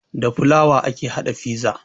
Da fulawa ake haɗa fiza